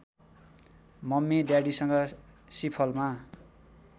mummy ड्याडीसँग सिफलमा